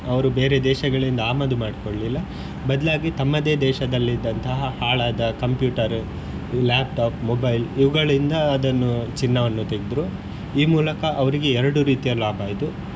ಅವರು ಬೇರೆ ದೇಶಗಳಿಂದ ಆಮದು ಮಾಡ್ಕೊಳಿಲ್ಲ ಬದ್ಲಾಗಿ ತಮ್ಮದೇ ದೇಶದಲ್ಲಿದ್ದಂತಹ ಹಾಳಾದ computer, laptop, mobile ಇವುಗಳಿಂದ ಅದನ್ನು ಚಿನ್ನವನ್ನು ತೆಗ್ದ್ರು ಈ ಮೂಲಕ ಅವರಿಗೆ ಎರಡು ರೀತಿಯ ಲಾಭ ಆಯ್ತು.